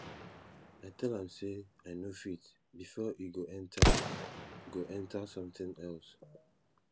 i tell am say i no fit before e go enter go enter something else